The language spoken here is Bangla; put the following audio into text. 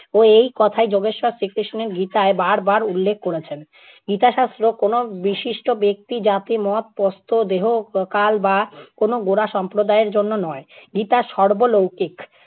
ও এই কথাই যোগেশ্বর শ্রীকৃষ্ণের গীতায় বার বার উল্লেখ করেছেন। গীতা শাস্ত্র কোনো বিশিষ্ট ব্যক্তি, জাতি, মত, প্রস্থ, দেহ, কাল বা কোনো গোড়া সম্প্রদায়ের জন্য নয়। গীতা সর্বলৌকিক